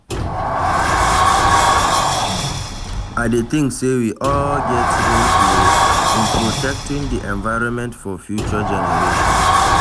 I dey think say we all get role to play in protecting di environment for future generations.